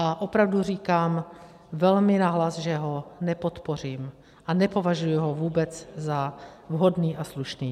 A opravdu říkám velmi nahlas, že ho nepodpořím a nepovažuji ho vůbec za vhodný a slušný.